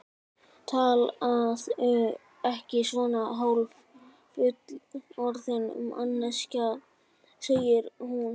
Talaðu ekki svona, hálffullorðin manneskjan, segir hún.